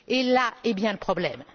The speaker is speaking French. Là est bien le problème.